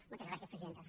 moltes gràcies presidenta